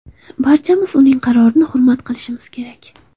Barchamiz uning qarorini hurmat qilishimiz kerak.